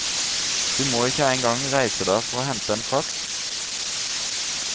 Du må ikke engang reise deg for å hente en faks.